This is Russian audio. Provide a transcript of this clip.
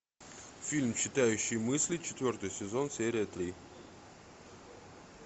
фильм читающий мысли четвертый сезон серия три